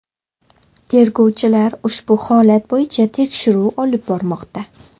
Tergovchilar ushbu holat bo‘yicha tekshiruv olib bormoqda.